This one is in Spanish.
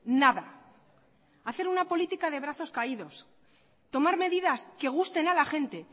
nada hacer una política de brazos caídos tomar medidas que gusten a la gente